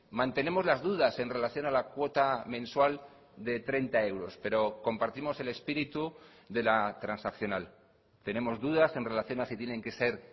mantenemos las dudas en relación a la cuota mensual de treinta euros pero compartimos el espíritu de la transaccional tenemos dudas en relación a si tienen que ser